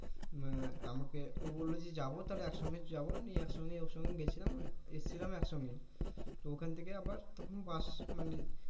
আহ আমাকে ও বলল যে যাবো তাহলে একসঙ্গে যাবো নিয়ে একসঙ্গে ওর সঙ্গে গেছিলাম এসেছিলামও একসঙ্গে তো ওখান থেকে আবার তখন বাস মানে